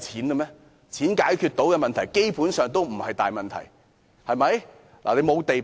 金錢能解決的問題，基本上也不是大問題，對嗎？